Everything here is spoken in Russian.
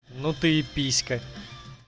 ну ты и писька